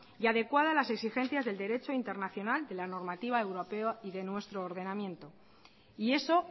y adecuada a las exigencias del derecho internacional de la normativa europea y de nuestro ordenamiento y eso